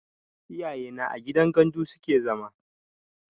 Iyaye na a gidan gandu suke zama